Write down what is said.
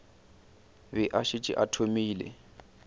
be a šetše a thomile